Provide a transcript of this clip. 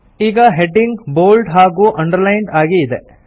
ಈಗ heading bold ಹಾಗೂ underlined ಆಗಿ ಇದೆ